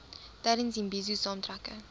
tydens imbizo saamtrekke